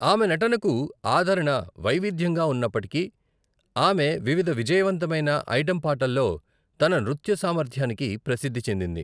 ఆమె నటనకు ఆదరణ వైవిధ్యంగా ఉన్నప్పటికీ, ఆమె వివిధ విజయవంతమైన ఐటం పాటల్లో తన నృత్య సామర్థ్యానికి ప్రసిద్ధి చెందింది.